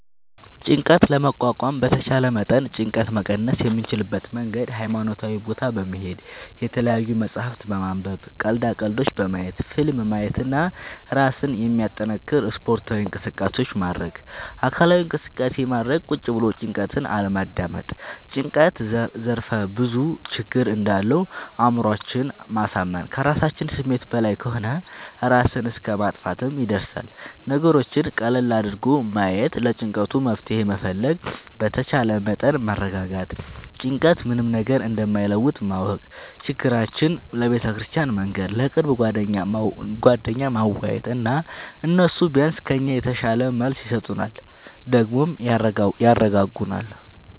ጭንቀት ለመቋቋም በተቻለ መጠን ጭንቀት መቀነስ የምንችልበት መንገድ ሀይማኖታዊ ቦታ በመሄድ፣ የተለያዪ መፅሀፍት በማንበብ፣ ቀልዳ ቀልዶች በማየት፣ ፊልም ማየት እና እራስን የሚያጠነክር ስፓርታዊ እንቅስቃሴ ማድረግ። አካላዊ እንቅስቃሴ ማድረግ ቁጭ ብሎ ጭንቀትን አለማዳመጥ። ጭንቀት ዘርፍ ብዙ ችግር እንዳለው አእምሮአችን ማሳመን ከራሳችን ስሜት በላይ ከሆነ እራስን እስከ ማጥፍትም ይደርሳል። ነገሮችን ቀለል አድርጎ ማየት ለጭንቀቱ መፍትሄ መፈለግ በተቻለ መጠን መረጋጋት ጭንቀት ምንም ነገር እንደማይለውጥ ማወቅ ችግራችን ለቤተክርስቲያን መንገር፣ ለቅርብ ጓደኛ ማዋየት እና እነሱ ቢያንስ ከኛ የተሻለ መልስ ይሰጡናል ደግሞም ያረጋጉናል።